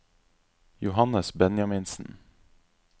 Johannes Benjaminsen